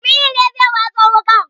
Jamilu ne zai waso wuƙar